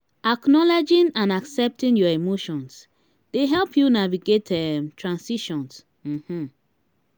acknowledging and accepting your emotions dey help you navigate um transitions. um